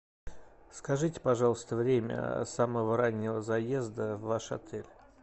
скажите пожалуйста время самого раннего заезда в ваш отель